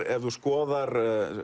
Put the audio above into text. ef þú skoðar